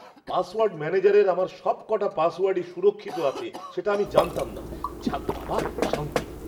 Password ম্যানেজারের আমার সবক'টা পাসওয়ার্ডই সুরক্ষিত আছে সেটা আমি জানতাম না। যাক বাবা, শান্তি!